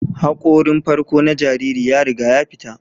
Hakorin farko na jariri ya riga ya fita